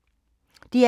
DR K